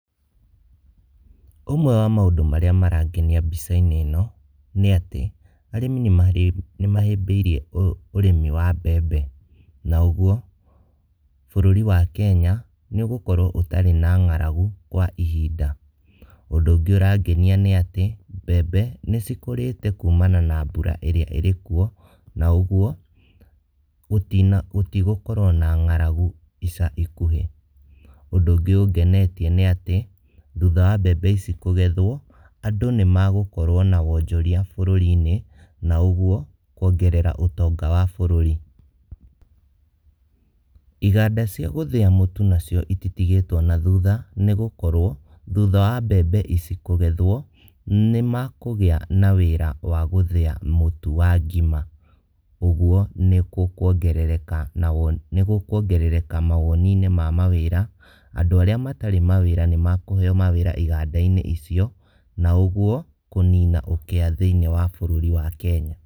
Ũmwe wa maũndũ marĩa marangenia mbica-inĩ ĩno, nĩ atĩ arĩmi nĩmahĩmbĩirie ũrĩmi wa mbembe, na ũguo bũrũri wa Kenya nĩũgũkorwo ũtarĩ na ng'aragu kwa ihinda. Ũndũ ũngĩ ũrangenia nĩ atĩ, mbembe nĩcikũrĩte kumana na mbura ĩrĩa ĩrĩkuo, na ũguo gũtigũkorwo na ng'aragu ica ikuhĩ. Ũndũ ũngĩ ũngenetie nĩ atĩ thutha wa mbembe ici kũgethwo andũ nĩmagũkorwo na wonjoria bũrũri-inĩ, na ũguo kuongerera ũtonga wa bũrũri. Iganda ciagũthĩa mũtu cititigĩtwo na thutha, nĩgũkorwo thutha wa mbembe ici kũgethwo, nĩmakũgĩa na wĩra wa gũthĩa mũtu wa ngima, ũguo nĩgũkuongereka mawoni-inĩ ma mawĩra, andũ arĩa matarĩ na wĩra nĩmakũheo wĩra iganda-inĩ icio, na ũguo kũnina ũkĩa thĩiniĩ wa bũrũri wa Kenya.